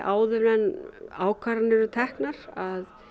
áður en ákvarðanir eru teknar að